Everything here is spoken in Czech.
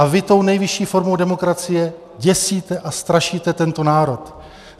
A vy tou nejvyšší formou demokracie děsíte a strašíte tento národ.